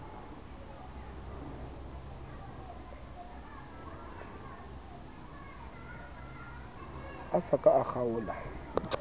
a sa ka a kgaola